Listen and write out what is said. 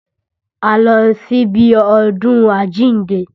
A lọ sí ibi ọdún àjíǹde